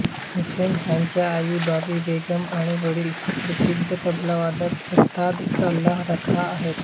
हुसेन ह्यांची आई बावी बेगम आणि वडील सुप्रसिद्ध तबलावादक उस्ताद अल्लाह रखा आहेत